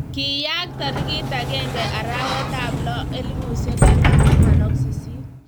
Kiyaak tarik akenge arawetab lo 2018.